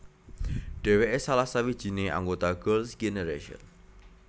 Dheweke salah sawijine anggota Girls Generation